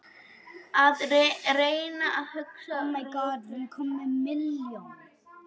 Að reyna að hugsa rökrétt